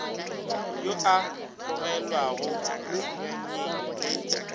yo a tlogelwago nyanyeng le